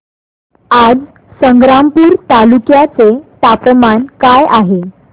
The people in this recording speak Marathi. आज संग्रामपूर तालुक्या चे तापमान काय आहे